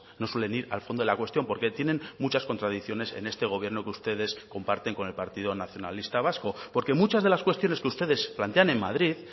no suelen ir al fondo de la cuestión porque tienen muchas contradicciones en este gobierno que ustedes comparten con el partido nacionalista vasco porque muchas de las cuestiones que ustedes plantean en madrid